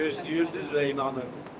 Yəqin ki, ümid edir və inanır.